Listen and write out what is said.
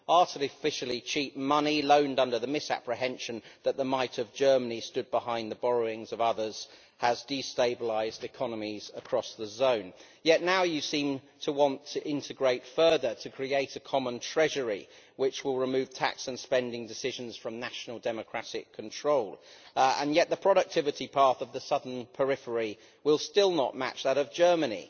Artificially cheap money, loaned under the misapprehension that the might of Germany stood behind the borrowings of others, has destabilised economies across the euro area. Yet now you seem to want to integrate further to create a common treasury which will remove tax and spending decisions from national democratic control, and yet the productivity path of the southern periphery will still not match that of Germany.